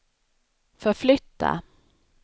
förflytta